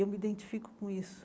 Eu me identifico com isso.